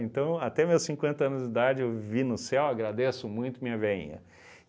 Então até meus cinquenta anos de idade eu vivi no céu, agradeço muito minha veinha.